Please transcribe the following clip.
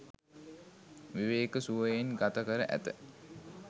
විවේක සුවයෙන් ගත කර ඇත.